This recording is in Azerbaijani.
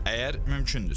Əgər mümkündürsə.